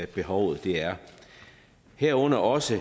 behovet er herunder også